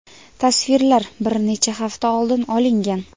Tasvirlar bir necha hafta oldin olingan.